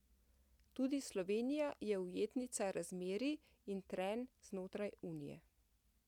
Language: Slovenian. Tudi Slovenija je ujetnica razmerij in trenj znotraj Unije.